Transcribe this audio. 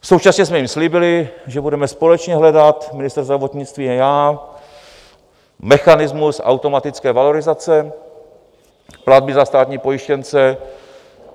Současně jsme jim slíbili, že budeme společně hledat, ministr zdravotnictví a já, mechanismus automatické valorizace platby za státní pojištěnce.